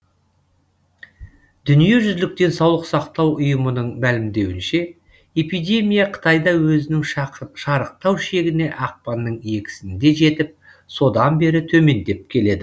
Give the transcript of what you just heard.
дүниежүзілік денсаулық сақтау ұйымының мәлімдеуінше эпидемия қытайда өзінің шарықтау шегіне ақпанның екісінде жетіп содан бері төмендеп келеді